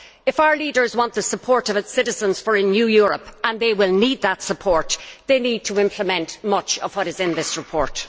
If our leaders want the support of their citizens for a new Europe and they will need that support they need to implement much of what is in this report.